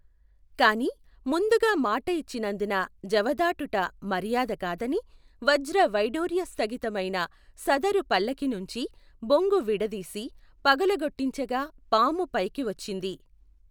కాని ముందుగా మాట ఇచ్చినందున జవదాటుట మర్యాద కాదని వజ్ర వైఢూర్య స్థగిత మైన సదరు పల్లకీ నుంచి బొంగు విడదీసి పగులగొట్టించగా పాము పైకి వచ్చింది.